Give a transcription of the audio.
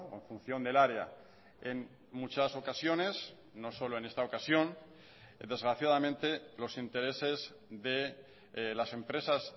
en función del área en muchas ocasiones no solo en esta ocasión desgraciadamente los intereses de las empresas